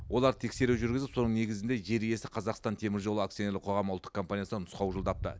олар тексеру жүргізіп соның негізінде жер иесі қазақстан теміржолы акционерлік қоғам ұлттық компаниясынан нұсқау жолдапты